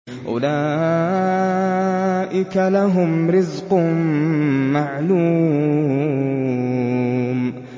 أُولَٰئِكَ لَهُمْ رِزْقٌ مَّعْلُومٌ